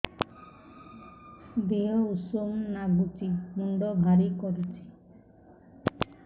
ଦିହ ଉଷୁମ ନାଗୁଚି ମୁଣ୍ଡ ଭାରି କରୁଚି